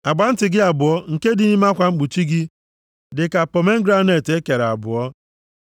Agba ntị gị abụọ nke dị nʼime akwa mkpuchi gị dị ka pomegranet e kere abụọ.